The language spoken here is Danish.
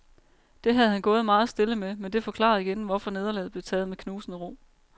Det havde han gået meget stille med, men det forklarede igen, hvorfor nederlaget blev taget med knusende ro.